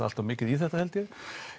allt of mikið í þetta held ég